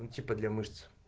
ну типа для мышц